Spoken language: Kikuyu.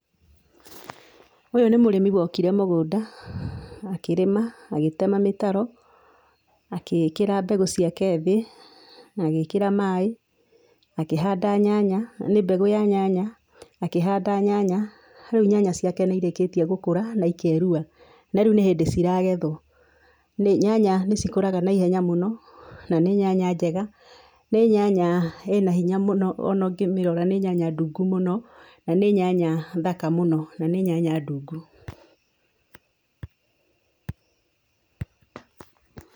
Ũyũ nĩ mũrĩmi wokire mũgũnda akĩrĩma agĩtema mĩtaro, agĩkĩra mbegũ ciake thĩ na agĩkĩra maaĩ akĩhanda nyanya, nĩ mbegũ ya nyanya, akĩhanda nyanya, rĩu nyanya ciake nĩ irĩkĩtie gũkũra na ikerua na rĩu nĩ hĩndĩ ciragethwo. Nyanya nĩ cikũraga na ihenya mũno na nĩ nyanya njega, nĩ nyanya ĩna hinya mũno, ona ũngĩmĩrora nĩ nyanya ndungu mũno, na nĩ nyanya thaka mũno, na nĩ nyanya ndungu.